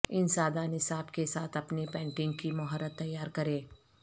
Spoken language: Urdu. ان سادہ نصاب کے ساتھ اپنی پینٹنگ کی مہارت تیار کریں